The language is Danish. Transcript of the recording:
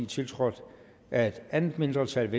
tiltrådt af et andet mindretal